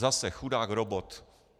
Zase, chudák robot.